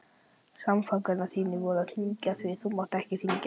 Samfangar þínir voru að hringja, því þú mátt ekki hringja.